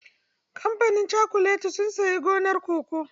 Kamfanin cakuletin sun sayi gonar cocoa.